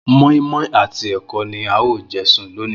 Mó̩ínmó̩ín àti è̩ko̩ ni a óò je̩ sùn lónìí